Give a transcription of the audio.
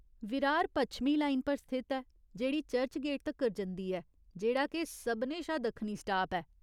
विरार पच्छमी लाइन पर स्थित ऐ जेह्ड़ी चर्चगेट तक्कर जंदी ऐ, जेह्ड़ा के सभनें शा दक्खनी स्टाप ऐ।